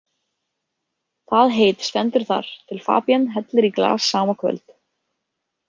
Það heit stendur þar til Fabienne hellir í glas sama kvöld.